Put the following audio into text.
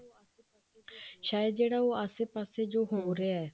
ਸ਼ਾਇਦ ਜਿਹੜਾ ਉਹ ਆਸੇ ਪਾਸੇ ਜੋ ਹੋ ਰਿਹਾ